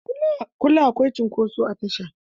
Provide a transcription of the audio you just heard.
Kullum akwai cunkoso a tasha